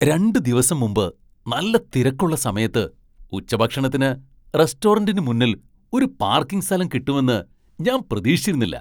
രണ്ട് ദിവസം മുമ്പ് നല്ല തിരക്കുള്ള സമയത്ത് ഉച്ചഭക്ഷണത്തിന് റെസ്റ്റോറന്റിന് മുന്നിൽ ഒരു പാർക്കിംഗ് സ്ഥലം കിട്ടുമെന്ന് ഞാൻ പ്രതീക്ഷിച്ചിരുന്നില്ല.